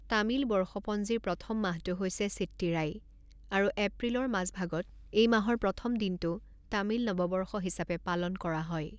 তামিল বৰ্ষপঞ্জীৰ প্ৰথম মাহটো হৈছে চিট্টিৰাই আৰু এপ্ৰিলৰ মাজভাগত এই মাহৰ প্ৰথম দিনটো তামিল নৱবৰ্ষ হিচাপে পালন কৰা হয়।